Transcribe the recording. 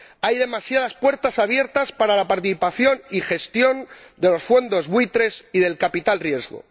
Hay demasiadas puertas abiertas para la participación y gestión de los fondos buitre y del capital riesgo.